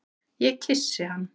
Ég kyssi hann.